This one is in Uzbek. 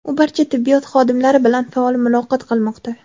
u barcha tibbiyot xodimlari bilan faol muloqot qilmoqda.